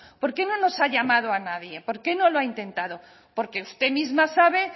por qué no nos ha llamado a nadie por qué no lo ha intentado porque usted misma sabe